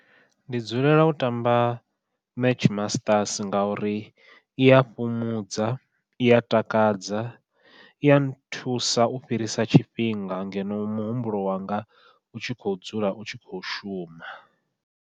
Ndi dzulela u ṱamba match masters ngauri ia fhumudza, iya takadza, iya nthusa u fhirisa tshifhinga ngeno muhumbulo wanga u tshi kho dzula u tshi kho shuma.